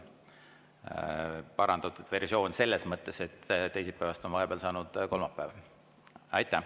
See oleks parandatud versioon selles mõttes, et teisipäevast on vahepeal saanud kolmapäev.